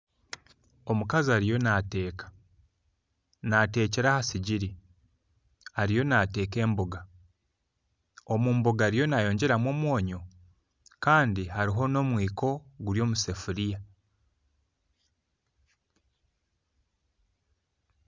Omukazi ariyo nateeka natekyera ahasigiri ariyo nateeka emboga , omumboga ariyo nayongyeramu omwonyo Kandi haruho nomwiko guri omusefuriya